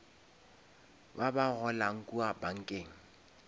ba ba golang kua bankeng